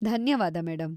ಧನ್ಯವಾದ ಮೇಡಂ.